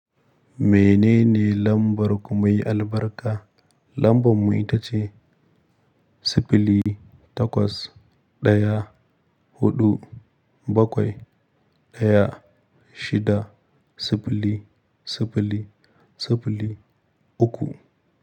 Menene lambar ku mai albarka? Lambar mu ita ce siffili takwas ɗaya huɗu bakwai ɗaya shida siffili siffili siffili uku.